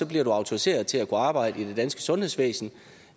bliver du autoriseret til at kunne arbejde i det danske sundhedsvæsen